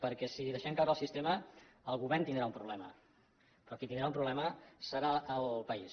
perquè si deixem caure el sistema el govern tindrà un problema però qui tindrà un problema serà el país